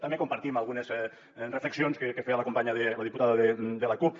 també compartim algunes reflexions que feia la companya la diputada de la cup